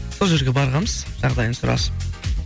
сол жерге барғанбыз жағдайын сұрасып